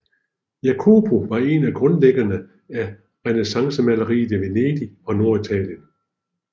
Jacopo var en af grundlæggerne af renæssancemaleriet i Venedig og Norditalien